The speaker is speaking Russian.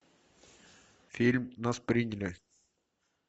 фильм нас приняли